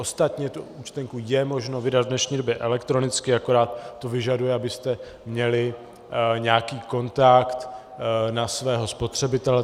Ostatně tu účtenku je možno vydat v dnešní době elektronicky, akorát to vyžaduje, abyste měli nějaký kontakt na svého spotřebitele.